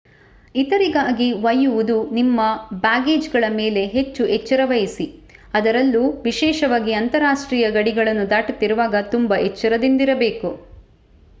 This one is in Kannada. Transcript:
ಇತರರಿಗಾಗಿ ಒಯ್ಯುವುದು - ನಿಮ್ಮ ಬ್ಯಾಗೇಜ್‌ಗಳ ಮೇಲೆ ಹೆಚ್ಚು ಎಚ್ಚರವಹಿಸಿ ಅದರಲ್ಲೂ ವಿಶೇಷವಾಗಿ ಅಂತರರಾಷ್ಟ್ರೀಯ ಗಡಿಗಳನ್ನು ದಾಟುತ್ತಿರುವಾಗ ತುಂಬಾ ಎಚ್ಚರದಿಂದಿರಬೇಕು